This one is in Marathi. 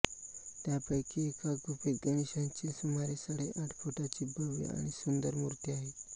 त्यापैकी एका गुफेत गणेशाची सुमारे साडेआठ फुटाची भव्य आणि सुंदर मूर्ती आहे